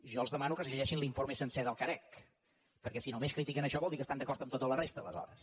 jo els demano que es llegeixin l’informe sencer del carec perquè si només critiquen això vol dir que estan d’acord amb tota la resta aleshores